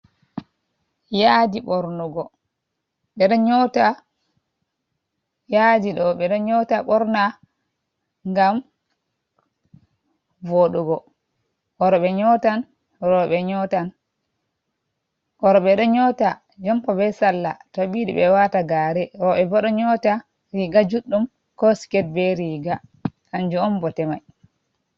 Yadi bornugo be do nyota borna gam vodugo oro be do nyota jompa be salla tabidi be wata gare robe bodo nyota riga juddum ko sket be riga kanjo on bote mai.